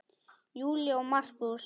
Júlía og Markús.